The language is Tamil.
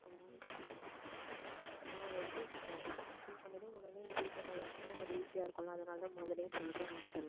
அதெல்லாம் அதெல்லாம் எடுத்து வச்சுக்கோங்க form fill பண்ணதும் உடனே நீ fill பண்ண ஆரம்பிச்சீன்னா கொஞ்சம் easy ஆ இருக்கும் இல்ல அதனாலதான் முதல்லயே சொல்றேன் நானு இதெல்லாம்